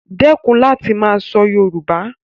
Dẹ́kun láti máa sọ Yoruba